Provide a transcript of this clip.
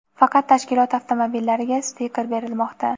faqat tashkilot avtomobillariga stiker berilmoqda.